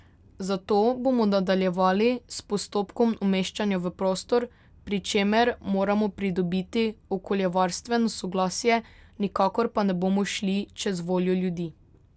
Zato bomo nadaljevali s postopkom umeščanja v prostor, pri čemer moramo pridobiti okoljevarstveno soglasje, nikakor pa ne bomo šli čez voljo ljudi.